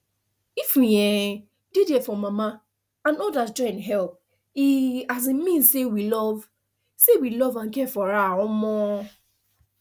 if we um dey there for mama and others join help e um mean say we love say we love and care for her um